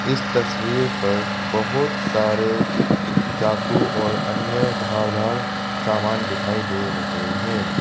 इस तस्वीर पर बहुत सारे चाकू और अन्य धारदार सामान दिखाई दे रहे हैं।